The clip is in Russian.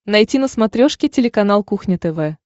найти на смотрешке телеканал кухня тв